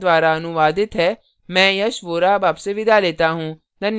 यह स्क्रिप्ट प्रभाकर द्वारा अनुवादित है मैं यश वोरा अब आपसे विदा लेता हूँ